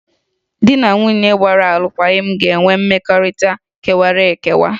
Ndị di na nwunye gbara alụkwaghịm ga-enwe mmekọrịta kewara ekewa